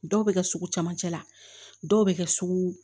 Dɔw bɛ kɛ sugu camancɛ la dɔw bɛ kɛ sugu